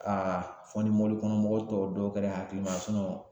fɔ ni kɔnɔ mɔgɔw tɔw dɔw kɛra hakilima